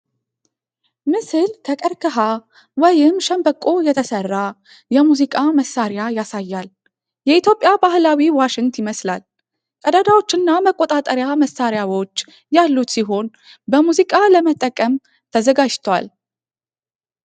ምስል ከቀርከሃ ወይም ሸምበቆ የተሰራ የሙዚቃ መሣሪያ ያሳያል። የኢትዮጵያ ባህላዊ ዋሽንት ይመስላል። ቀዳዳዎችና መቆጣጠሪያ ማሰሪያዎች ያሉት ሲሆን፣ በሙዚቃ ለመጠቀም ተዘጋጅቷል።